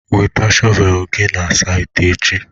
Weta shọvel gị na saịtị echi!